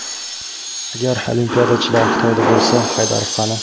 Agar olimpiyachilar Xitoyda bo‘lsa, Haydarov qani?